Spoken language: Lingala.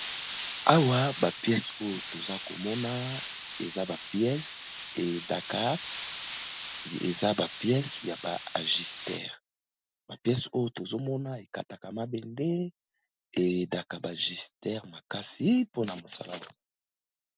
Awa ba pièces oyo toza komona eza ba pièces et aidaka , eza ba pièces ya ba ajusteures. Ba pièces oyo tozomona ekataka mabende et aidaka ba ajusteures makasi mpona mosala.